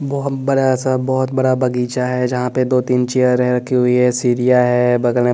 बहुत बड़ा सा बहुत बड़ा बगीचा है यहां पे दो तीन चेयर हैं रखी हुई है सीढ़ियां है बगल में--